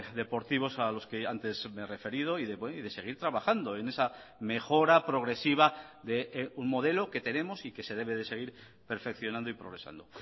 deportivos a los que antes me he referido y de seguir trabajando en esa mejora progresiva de un modelo que tenemos y que se debe de seguir perfeccionando y progresando